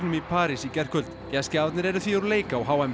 í París í gærkvöld gestgjafarnir eru því úr leik